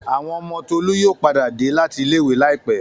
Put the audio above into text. Àwọn ọmọ Tolú yóò padà dé láti ilé-ìwé láìpẹ́.